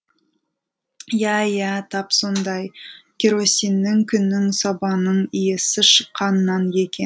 иә иә тап сондай керосиннің күннің сабанның иісі шыққаннан екен